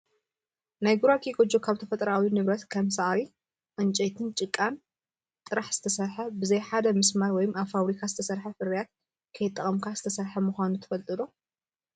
ናይ ጉራጌ ጎጆ ካብ ተፈጥሮኣዊ ንብረት ከም ሳዕሪ፣ ዕንጨይትን ጭቃን ጥራሕ ዝተሰርሐ፣ · ብዘይ ሓደ መስማር ወይ ኣብ ፋብሪካ ዝተሰርሐ ፍርያት ከይተጠቐምካ ዝተሰርሐ ምኳኑ ትፈልጡ ዶ ?